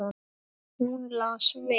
Hún las vel.